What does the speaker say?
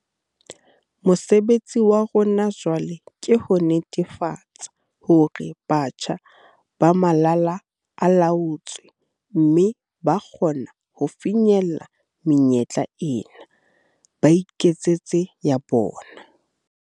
Mosebetsi wa rona jwale ke ho netefatsa hore batjha ba malala a laotswe mme ba kgona ho fihlella menyetla ena, ba iketsetse ya bona.